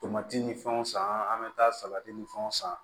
Tomati ni fɛnw san an bɛ taa salati ni fɛnw san